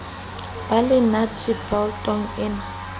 ba le nate boltong e